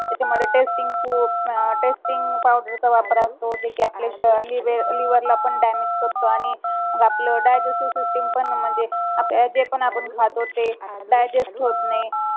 त्याचा मध्ये testing food अह testing powder चा वापर असतो जे की आपल्या liver ला पण damage करतो आणि आपलं digestive system पण म्हणजे जे पण आपण खातो ते digest होत नाही